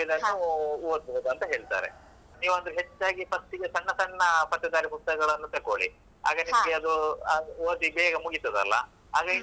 ಇದನ್ನು ಓದ್ಬೋದು ಅಂತ ಹೇಳ್ತಾರೆ ನೀವೊಂದು ಹೆಚ್ಚಾಗಿ first ಗೆ ಸಣ್ಣ ಸಣ್ಣ ಪತ್ತೇದಾರಿ ಪುಸ್ತಕಗಳನ್ನು ತಕೋಳಿ. ಆಗ ನಿಮ್ಗೆ ಅದು ಓದಿ ಬೇಗ ಮುಗೀತದಲ್ಲ.